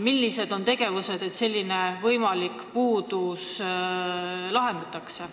Millised on tegevused selleks, et see võimalik puudus kaotada?